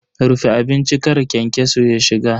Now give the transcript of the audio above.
Rufe abincin kar kyankyaso ya shiga.